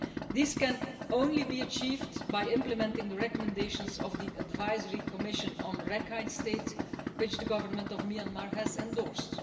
This can be achieved only by implementing the recommendations of the Advisory Commission on Rakhine State, which the Government of Myanmar has endorsed.